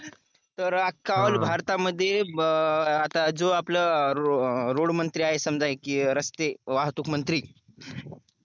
तर अख्या भारतामध्ये आता जो आपला रोड मंत्री आहे समजा कि अं रस्ते वाहतूक मंत्री